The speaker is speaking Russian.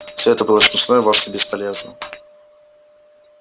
все это было смешно и вовсе бесполезно